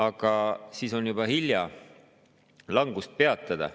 Aga siis on juba hilja langust peatada.